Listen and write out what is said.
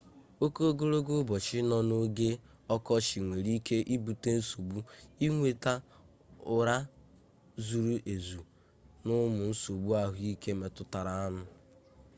oke ogologo ụbọchị nọ n'oge ọkọchị nwere ike ibute nsogbu inweta ụra zuru ezu na ụmụ nsogbu ahụike metụtaranụ